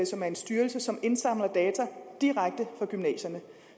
som er en styrelse som indsamler data direkte fra gymnasierne